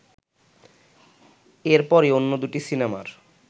এরপরই অন্য দুটি সিনেমার